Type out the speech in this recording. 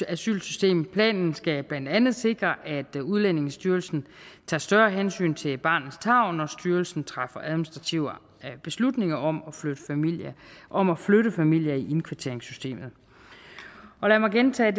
asylsystem planen skal blandt andet sikre at udlændingestyrelsen tager større hensyn til barnets tarv når styrelsen træffer administrative beslutninger om om at flytte familier i indkvarteringssystemet lad mig gentage